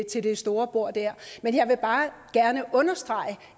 til det store bord der men jeg vil bare gerne understrege at